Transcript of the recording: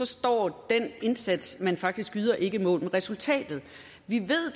står den indsats man faktisk yder ikke mål med resultatet vi ved